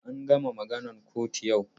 An gama maganan kotun yau.